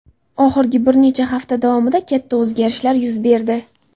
Oxirgi bir necha hafta davomida katta o‘zgarishlar yuz berdi.